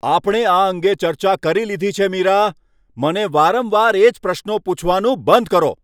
આપણે આ અંગે ચર્ચા કરી લીધી છે મીરા! મને વારંવાર એ જ પ્રશ્નો પૂછવાનું બંધ કરો.